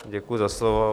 Děkuji za slovo.